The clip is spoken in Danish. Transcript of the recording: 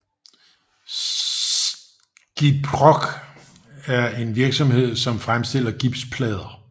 Gyproc er en virksomhed som fremstiller gipsplader